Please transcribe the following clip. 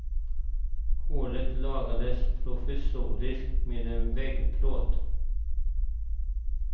Hålet lagades provisoriskt med en vägplåt.